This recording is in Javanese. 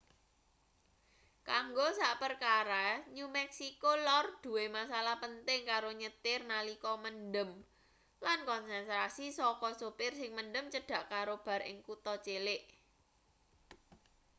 kanggo sakperkara new meksiko lor duwe masalah penting karo nyetir nalika mendem lan konsentrasi saka sopir sing mendem cedhak karo bar ing kutha cilik